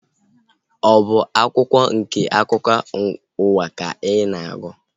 Ọ bụ akwụkwọ nke akụkọ ụwa ka ị na-agụ?